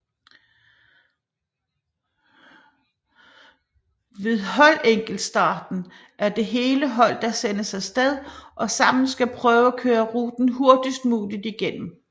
Ved holdenkeltstarten er det hele hold der sendes afsted og sammen skal prøve at køre ruten hurtigst muligt igennem